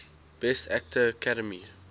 best actor academy